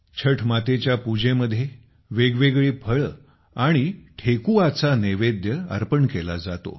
छठ मातेच्या पूजेमध्ये वेगवेगळी फळे आणि ठेकुआचा नैवेद्य अर्पण केला जातो